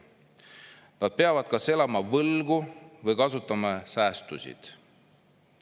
Nad peavad kas elama võlgu või kasutama säästusid.